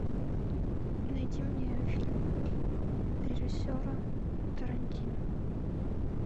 найди мне фильм режиссера тарантино